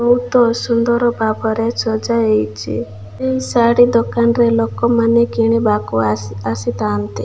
ବହୁତ ସୁନ୍ଦର ଭାବରେ ସଜା ହେଇଚି। ଏହି ଶାଢ଼ୀ ଦୋକାନରେ ଲୋକମାନେ କିଣିବାକୁ ଆସି ଆସିଥାନ୍ତି।